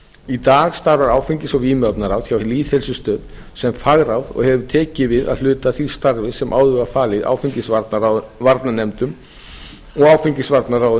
í dag starfar áfengis og vímuefnaráð hjá lýðheilsustöð sem fagráð og hefur tekið við að hluta því starfi sem áður var falið áfengisvarnanefndum